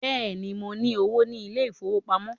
Bẹ́ẹ̀ni, mo ní owó ní ilé ìfowópamọ́